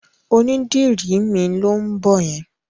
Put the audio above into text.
Onídìrí mi ló ń bọ̀ yẹn.